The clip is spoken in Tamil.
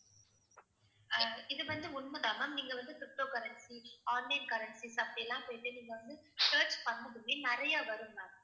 அஹ் இது வந்து உண்மைதான் ma'am. நீங்க வந்து ptocurrency, online currency அப்படி எல்லாம் போயிட்டு நீங்க வந்து search பண்ணதுமே நிறைய வரும் ma'am